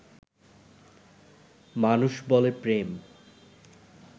মানুষ বলে প্রেম